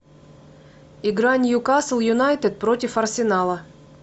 игра ньюкасл юнайтед против арсенала